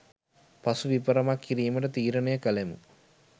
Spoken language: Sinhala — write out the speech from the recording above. පසු විපරමක්‌ කිරීමට තීරණය කළෙමු.